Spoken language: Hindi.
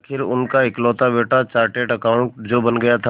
आखिर उनका इकलौता बेटा चार्टेड अकाउंटेंट जो बन गया था